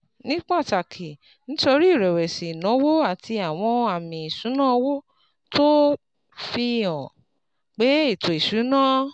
Ní pàtàkì nítorí ìrẹ̀wẹ̀sì ìnáwó àti àwọn àmì ìṣúnná owó tó fi hàn pé ètò ìṣúnná